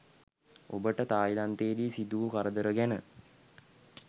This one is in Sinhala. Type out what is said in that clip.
ඔබට තායිලන්තේදී සිදු වූ කරදර ගැන